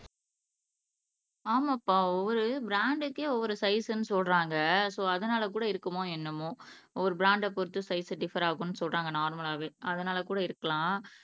ஆமாப்பா ஒவ்வொரு பிராண்டுக்கே ஒவ்வொரு சைஸ்னு சொல்றாங்க சோ அதுனால கூட இருக்குமோ என்னமோ ஒவ்வொரு பிராண்ட பொருத்து சைஸ்சு டிஃப்ஃபர் ஆகும்னு சொல்றாங்க நார்மலாவே அதுனால கூட இருக்கலாம்